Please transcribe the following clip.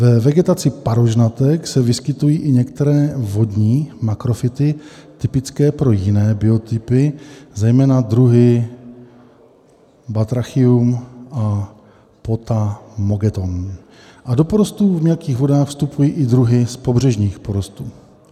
Ve vegetaci parožnatek se vyskytují i některé vodní makrofyty typické pro jiné biotopy, zejména druhy Batrachium a Potamogeton, a do porostů v mělkých vodách vstupují i druhy z pobřežních porostů.